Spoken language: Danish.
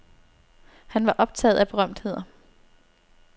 Han var optaget af berømtheder.